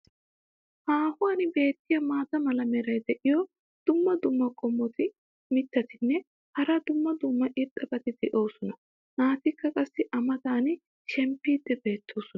Haahuwan beetiya maata mala meray diyo dumma dumma qommo mitattinne hara dumma dumma irxxabati de'oosona. naatikka qassi a matan shempiidi beetosona.